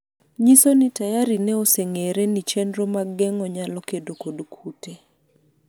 nyiso ni tayari ne oseng'ere ni chenro mag geng'o nyalo kedo kod kute